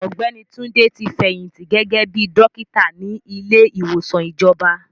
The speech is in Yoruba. Ọ̀gbẹ́ni Túndé ti fẹ̀yìntì gẹ́gẹ́ bíi dọ́kítà ní ilé ìwòsàn ìjọba.